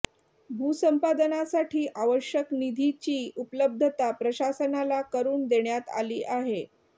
भूसंपादनासाठी आवश्यक निधीची उपलब्धता प्रशासनाला करून देण्यात आली आहे